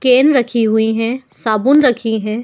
Can रखी हुई हैं। साबुन रखी हैं।